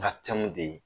Nka tɛmɛn de